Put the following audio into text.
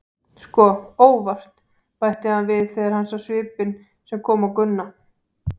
Sko, ÓVART, bætti hann við þegar hann sá svipinn sem kom á Gunna.